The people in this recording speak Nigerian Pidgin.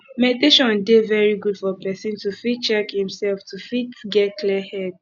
meditation dey very good for person to fit check im self to fit get clear head